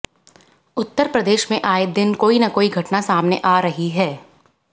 उत्तर प्रदेश में आए दिन कोई न कोई घटना सामने आ रही है